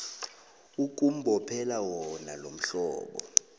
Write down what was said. ukumbophela wona lomhlobo